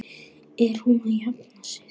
Er hún að jafna sig?